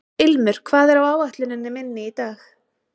Ilmur, hvað er á áætluninni minni í dag?